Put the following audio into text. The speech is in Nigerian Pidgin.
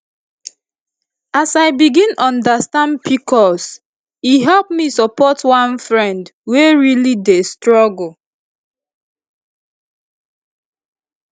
as i i begin understand pcos e help me support one friend wey really dey struggle